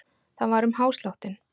Það var um hásláttinn.